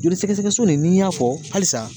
Joli sɛgɛsɛgɛ so de ni y'a fɔ halisa.